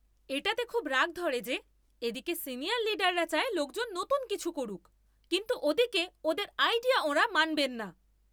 এটাতে খুব রাগ ধরে যে এদিকে সিনিয়র লিডাররা চায় লোকজন নতুন কিছু করুক কিন্তু ওদিকে ওদের আইডিয়া ওঁরা মানবেন না!